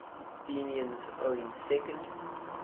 athenians owning second